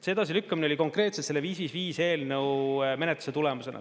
See edasilükkamine oli konkreetselt selle 555 eelnõu menetluse tulemusena.